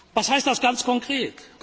Was heißt das ganz konkret?